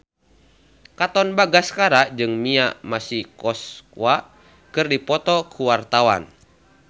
Katon Bagaskara jeung Mia Masikowska keur dipoto ku wartawan